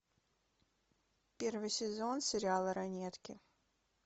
первый сезон сериала ранетки